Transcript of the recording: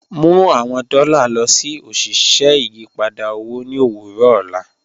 Mu awọn dọ́lá lọ sí oṣiṣẹ́ ìyìpadà owo ni owurọ ọlá